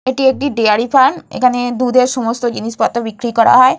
এটি একটি dairy farm. এখানে দুধের সমস্ত জিনিস পত্র বিক্রি করা হয়।